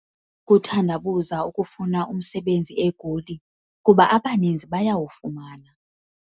Ukuthandabuza ukufuna umsebenzi eGoli kuba abaninzi bayawufumana.